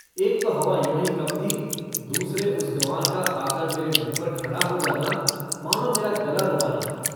एक तो हवा यों ही कम थी, दूसरे उस गँवार का आकर मेरे मुँह पर खड़ा हो जाना मानों मेरा गला दबाना था।